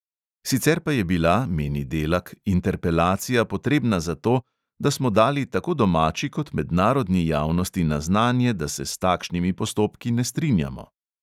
Sicer pa je bila, meni delak, interpelacija potrebna zato, da "smo dali tako domači kot mednarodni javnosti na znanje, da se s takšnimi postopki ne strinjamo".